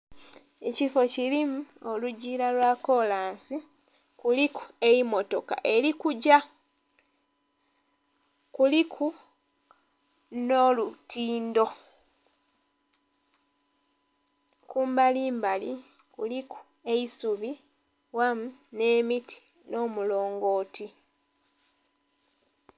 Ekifo kilimu olugila lwa kolansi, kuliku emmotoka eli kugya. Kuliku nh'olutindho. Kumbalimbali kuliku eisubi wamu nhe miti nho omulongooti.